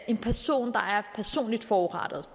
en person der er personligt forurettet